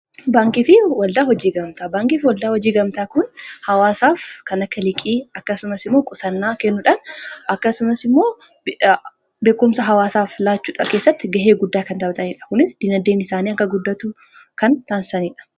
Baankiifi waldaa hojii gamtaa:-Baankiifi waldaa hojii gamtaa kun hawaasaaf kan akka liqii akkasumas immoo qusannaa kennuudhaan akkasumas immoo beekumsa hawaasaaf laachuu keessatti ga'ee guddaa kan taphatanidha. Kunis diinagdeen isaanii akka guddatu kan taasisanidha.